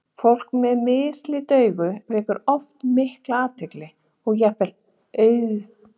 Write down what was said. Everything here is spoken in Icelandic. Fólk með mislit augu vekur oft mikla athygli og jafnvel aðdáun.